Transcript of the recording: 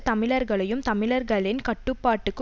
தமிழர்களையும் தமிழர்களின் கட்டுப்பாட்டுக்கு